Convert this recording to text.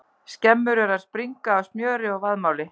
Skemmur eru að springa af smjöri og vaðmáli!